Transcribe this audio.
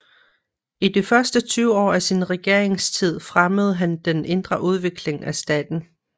I de første 20 år af sin regeringstid fremmede han den indre udvikling af staten